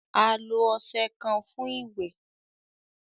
A lo ọṣẹ kan fun iwẹ